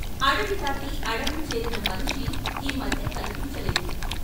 అడవి దాటి అడంగు చేరిన మనిషి ఈ మధ్య కన్పించ లేదు.